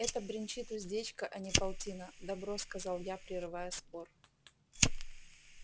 это бренчит уздечка а не полтина добро сказал я прерывая спор